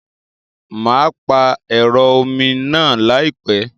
Mà á pààrọ̀ ẹ̀rọ omi náà láìpẹ́.